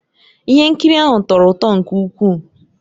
Ihe nkiri ahụ tọrọ ụtọ nke ukwuu